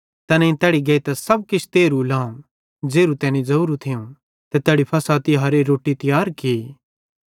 तैनेईं तैड़ी गेइतां सब किछ तेरहू लाव ज़ेरू तैनी ज़ोरू थियूं ते तैड़ी फ़सह तिहारेरी रोट्टी तियार की